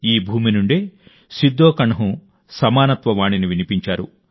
ఈ భూమి నుండే సిద్ధోకణ్హు సమానత్వ వాణిని వినిపించారు